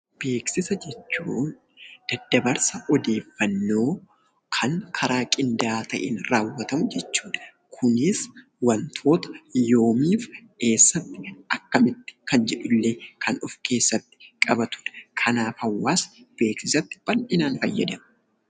Beeksisa jechuun daddabarsa odeeffannoo kan karaa qindaa'aa ta'een raawwatamu jechuudha. Kunis wantoota yoomii fi eessatti, akkamitti kan jedhu illee kan of keessatti qabatudha. Kanaaf, hawaasni beeksisatti bal'inaan fayyadama.